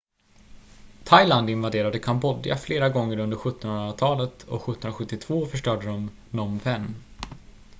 thailand invaderade kambodja flera gånger under 17-hundratalet och 1772 förstörde de phnom phen